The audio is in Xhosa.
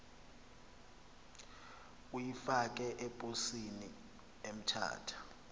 uyifake eposini emthatha